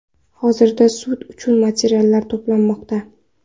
Hozirda sud uchun materiallar to‘planmoqda.